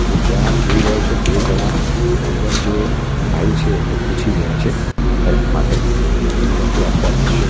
ત્યાં આપ જોઈ રહ્યા છો બે જણા અંદર જે ભાઈ છે એમને પૂછી રહ્યા છે હેલ્પ માટે એવી લગતું આખુ આ દ્રશ્ય છે.